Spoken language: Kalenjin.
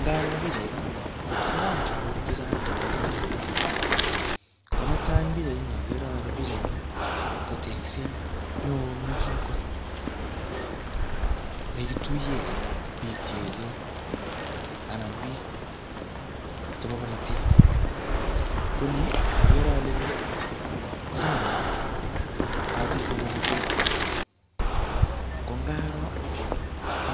Ngaro pichait ni, kochang tuguk chechang chebo komonut. Ko netai eng pichait ni agere ale pichait ni ko tegset neoo nekim kot, nekituye biik che echen anan biik chebo bolotet. Ko ni, agere ale ni, ko chamait ap biik ap bolotet. Ko ngaro,